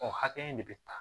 O hakɛ in de bɛ ta